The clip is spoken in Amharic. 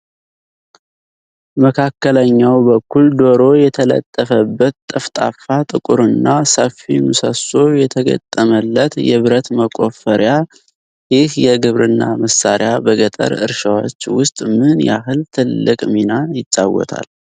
መካከለኛው በኩል ዶሮ የተለጠፈበት ጠፍጣፋ፣ ጥቁርና ሰፊ ምሰሶ የተገጠመለት የብረት መቆፈሪያ፣ ይህ የግብርና መሳሪያ በገጠር እርሻዎች ውስጥ ምን ያህል ትልቅ ሚና ይጫወታል?